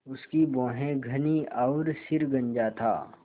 उसकी भौहें घनी और सिर गंजा था